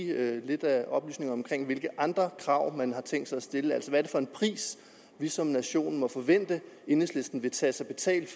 lidt oplysninger om hvilke andre krav man har tænkt sig at stille hvad er det for en pris vi som nation må forvente enhedslisten vil tage sig betalt